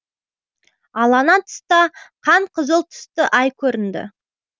ал ана тұста қан қызыл түсті ай көрінді